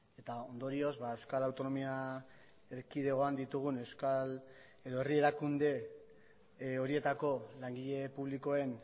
eta ondorioz euskal autonomia erkidegoan ditugun euskal edo herri erakunde horietako langile publikoen